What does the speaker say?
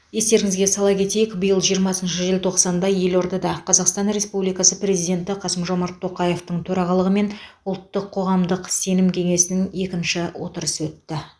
естеріңізге сала кетейік биыл жиырмасыншы желтоқсанда елордада қазақстан республикасы президенті қасым жомарт тоқаевтың төрағалығымен ұлттық қоғамдық сенім кеңесінің екінші отырысы өтті